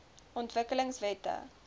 ontwikkelingwette